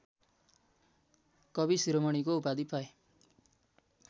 कविशिरोमणिको उपाधि पाए